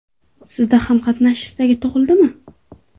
Sizda ham qatnashish istagi tug‘ildimi?